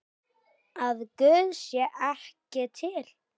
Að Guð sé ekki til?